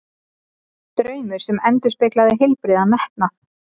Draumur sem endurspeglaði heilbrigðan metnað.